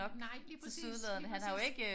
Nej lige præcis lige præcis